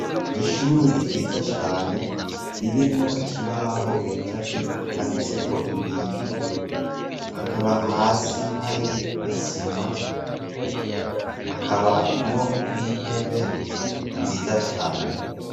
Ishuri ryiza cane, ririmwo ikibaho gicafyeko, canditseko ibintu, hakaba hasi hari isima hakabamwo n'intebe nziza cane.